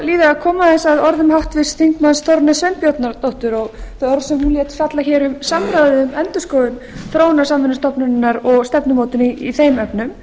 líða að koma aðeins að orðum háttvirts þingmanns þórunnar sveinbjarnardóttur þeim orðum sem hún lét falla hér um samráðið um endurskoðun þróunarsamvinnustofnunarinnar og stefnumótun í þeim efnum